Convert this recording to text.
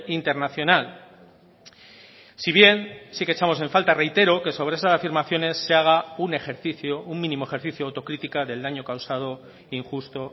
internacional si bien sí que echamos en falta reitero que sobre esas afirmaciones se haga un ejercicio un mínimo ejercicio autocritica del daño causado injusto